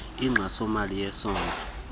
inkxaso mali yesondlo